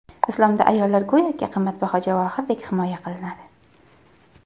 Islomda ayollar go‘yoki qimmatbaho javohirdek himoya qilinadi.